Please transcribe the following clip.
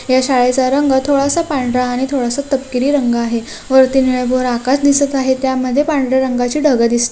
या शाळेचा रंग थोडासा पांढरा आणि थोडासा तपकिरी रंग आहे वरती निळं भोर आकाश दिसत आहे त्यामध्ये पांढऱ्या रंगाचे ढग दिस--